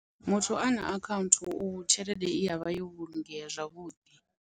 Muthu ana account tshelede i avha yo vhulungea zwavhuḓi.